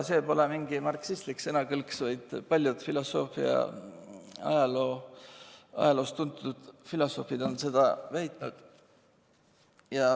See pole mingi marksistlik sõnakõlks, vaid paljud filosoofia ajaloost tuntud filosoofid on seda väitnud.